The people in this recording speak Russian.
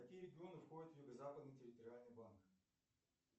какие регионы входят в юго западный территориальный банк